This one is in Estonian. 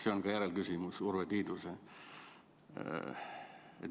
See on ka järelküsimus Urve Tiiduse küsimusele.